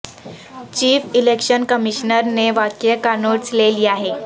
chief election commissioner نے واقعے کا نوٹس لے لیا ہے